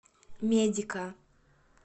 медика